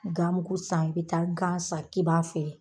Gamugu san i be taa gan san k'i b'a feere